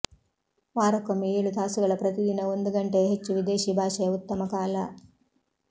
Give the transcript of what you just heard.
ವಾರಕ್ಕೊಮ್ಮೆ ಏಳು ತಾಸುಗಳ ಪ್ರತಿದಿನ ಒಂದು ಗಂಟೆಯ ಹೆಚ್ಚು ವಿದೇಶಿ ಭಾಷೆ ಉತ್ತಮ ಕಾಲ